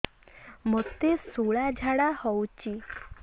ମୋତେ ଶୂଳା ଝାଡ଼ା ହଉଚି